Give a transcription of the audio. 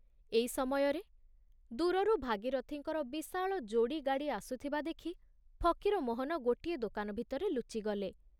ଏଇ ସମୟରେ ଦୂରରୁ ଭାଗୀରଥିଙ୍କର ବିଶାଳ ଯୋଡ଼ି ଗାଡ଼ି ଆସୁଥିବା ଦେଖି ଫକୀରମୋହନ ଗୋଟିଏ ଦୋକାନ ଭିତରେ ଲୁଚିଗଲେ।